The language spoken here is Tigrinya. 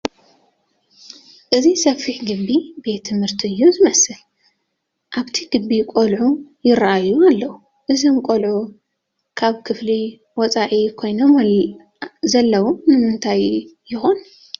እዚ ሰፊሕ ግቢ ቤት ትምህርቲ እዩ ዝመስል፡፡ ኣብቲ ግቢ ቆልዑ ይርአዩ ኣለዉ፡፡ እዞም ቆልዑ ካብ ክፍሊ ወፃኢ ኮይኖም ዘለዉ ንምንታይ ይኾን?